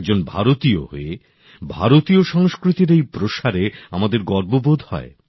একজন ভারতীয় হয়ে ভারতীয় সংস্কৃতির এই প্রসারে আমাদের গর্ব বোধ হয়